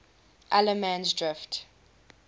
allemansdrift